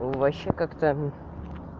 вообще как-то